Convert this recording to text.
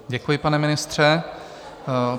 Děkuji, pane ministře.